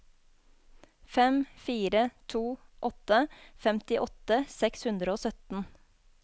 fem fire to åtte femtiåtte seks hundre og sytten